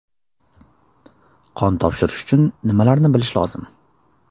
Qon topshirish uchun nimalarni bilish lozim?